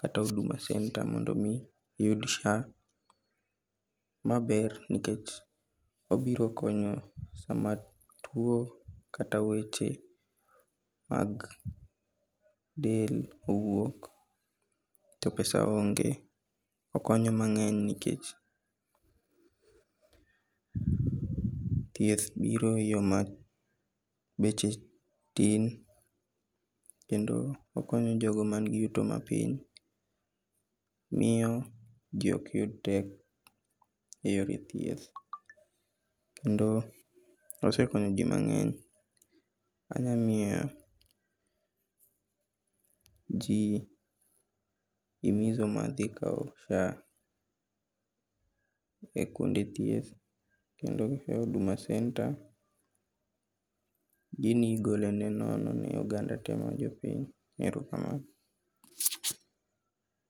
kata Huduma Centre mondo mi iyud SHA maber nikech obiro konyo sama tuo kata weche mag del owuok to pesa onge. Okonyo mang'eny nikech thieth biro e yo ma beche tin, kendo okonyo jogo man gi yuto mapiny, kendo miyo ji ok yud pek eyore thieth kendo osekonyo ji mang'eny anyang'iewo ji biro mana dhikawo SHA e kuonde thieth kendo gikawe Huduma Centre gini igole nono ne oganda tee mar jo Kenya. Erokamano.